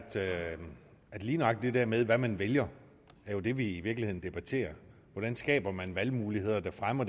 er at lige nøjagtig det her med hvad man vælger jo er det vi i virkeligheden debatterer hvordan skaber man valgmuligheder der fremmer